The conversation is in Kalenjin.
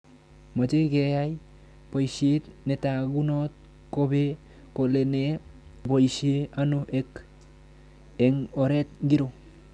Mache keyai poishet netagunot kopee kole nee nepoishe ,ano ak eng' oret ng'iro